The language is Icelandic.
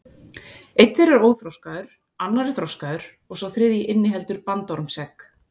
Einn þeirra er óþroskaður, annar er þroskaður og sá þriðji inniheldur bandormsegg.